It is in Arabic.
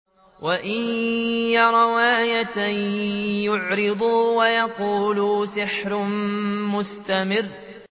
وَإِن يَرَوْا آيَةً يُعْرِضُوا وَيَقُولُوا سِحْرٌ مُّسْتَمِرٌّ